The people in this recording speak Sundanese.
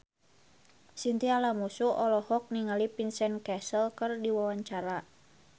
Chintya Lamusu olohok ningali Vincent Cassel keur diwawancara